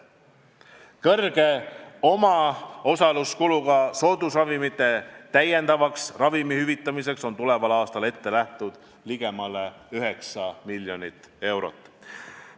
Suure omaosaluskuluga soodusravimite maksumuse täiendavaks hüvitamiseks on tuleval aastal ette nähtud ligemale 9 miljonit eurot.